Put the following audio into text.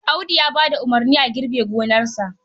Audu ya ba da umarnin a girbe gonarsa.